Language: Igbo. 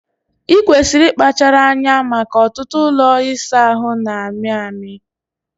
Ikwesịrị ịkpachara anya maka ọtụtụ ụlọ ịsa ahụ na-amị amị